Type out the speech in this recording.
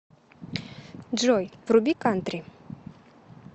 джой вруби кантри